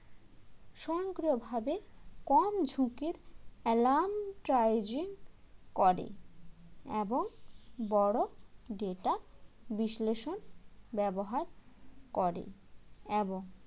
স্বয়ংক্রিয়ভাবে কম ঝুঁকির alarm . করে এবং বড়ো data বিশ্লেষণ ব্যবহার করে এবং